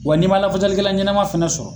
Wa n'i man lafasali kɛla ɲanama fana sɔrɔ